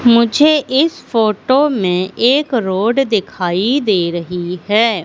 मुझे इस फोटो में एक रोड दिखाई दे रही है।